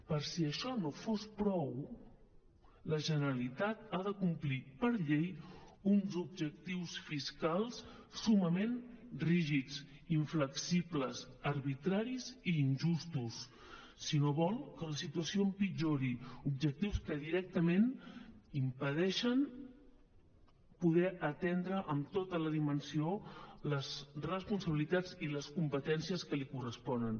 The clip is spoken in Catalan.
per si això no fos prou la generalitat ha de complir per llei uns objectius fiscals summament rígids inflexibles arbitraris i injustos si no vol que la situació empitjori objectius que directament impedeixen poder atendre amb tota la dimensió les responsabilitats i les competències que li corresponen